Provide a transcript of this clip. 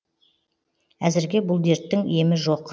әзірге бұл дерттің емі жоқ